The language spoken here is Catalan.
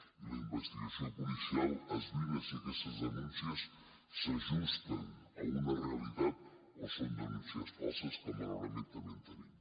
i la investigació policial esbrina si aquestes denúncies s’ajusten a una realitat o són denúncies falses que malauradament també en tenim